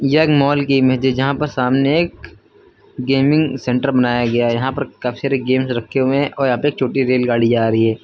यह एक माल की इमेज है जहां पर सामने एक गेमिंग सेंटर बनाया गया है यहां पर काफी सारे गेम्स रखे हुए हैं और यहां पे एक छोटी रेलगाड़ी जा रही है।